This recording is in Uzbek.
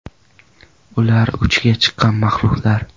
Ular uchiga chiqqan mahluqlar!